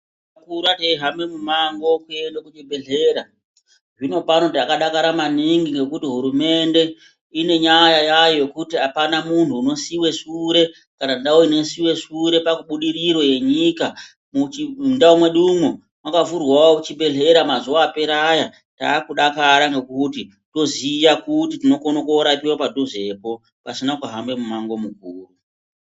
Takakura teihamba mumango kuende kuchibhedhlera. Zvinopano takadakara maningi ngekuti hurumende ine nyaya yayo yekuti apana muntu unosiyiwe sure kana ndau inosiyiwe sure pabudiriro yenyika. Mwundau mwedumwo mwakavhurwawo chibhedhlera mazuwa apera aya takudakara ngekuti toziya kuti tinokone korapiwa padhuzepo pasina kuhamba mumango mukuru.